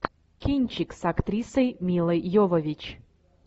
кинчик с актрисой милой йовович